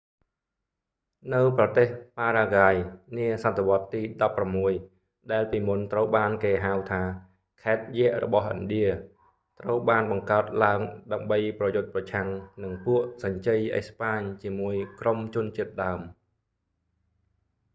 នៅប្រទេសប៉ារ៉ាហ្គាយនាសតវត្សរ៍ទី16 ដែលពីមុនត្រូវបានគេហៅថា ខេត្តយក្សរបស់ឥណ្ឌា ត្រូវបានបង្កើតឡើងដើម្បីប្រយុទ្ធប្រឆាំងនឹងពួកសញ្ជ័យអេស្ប៉ាញជាមួយក្រុមជនជាតិដើម